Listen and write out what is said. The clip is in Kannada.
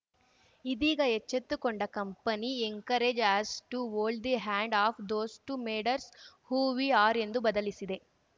ಇದೀಗ ಎಚ್ಚೆತ್ತುಕೊಂಡ company encourage us to hold the hands of those to matters who we are ಎಂದು ಬದಲಿಸಿದೆ